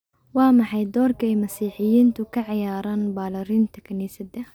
Waa maxay doorka ay Masiixiyiintu ka ciyaaraan ballaarinta kaniisadda?